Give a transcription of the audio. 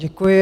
Děkuji.